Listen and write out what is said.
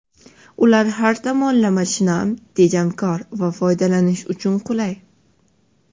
Ular har tomonlama shinam, tejamkor va foydalanish uchun qulay.